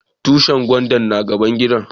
Tushin gwandan na gaban gidan mu.